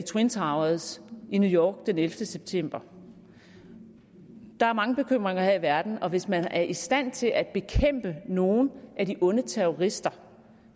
twin towers i new york den ellevte september der er mange bekymringer her i verden og hvis man er i stand til at bekæmpe nogle af de onde terrorister